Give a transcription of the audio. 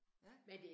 Ja